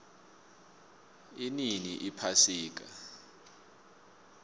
inini iphasika